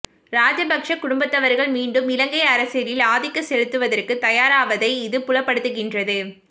ராஜபக்ச குடும்பத்தவர்கள் மீண்டும் இலங்கை அரசியலில் ஆதிக்க செலுத்துவதற்கு தயாராவதை இது புலப்படுத்துகின்றது